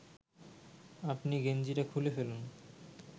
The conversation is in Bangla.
আপনি গেঞ্জিটা খুলে ফেলুন